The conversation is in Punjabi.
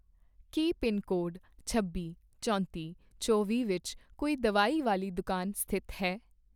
ਕੀ ਪਿਨਕੋਡ ਛੱਬੀ, ਚੌਂਤੀ, ਚੌਵੀਂ ਵਿੱਚ ਕੋਈ ਦਵਾਈ ਵਾਲੀ ਦੁਕਾਨ ਸਥਿਤ ਹੈ?